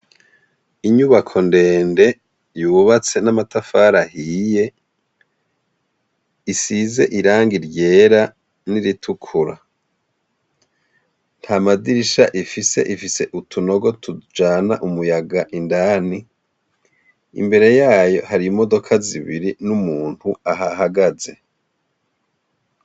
Inyubako ndende yubatse n'amatafari ahiye, isize irangi ryera n'iritukura. Nta madirisha ifise, ifise utunogo tujana umuyaga indani, imbere yayo hari imodoka zibiri n'umuntu ahahagaze.